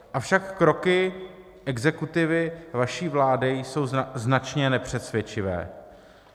Avšak kroky exekutivy vaší vlády jsou značně nepřesvědčivé.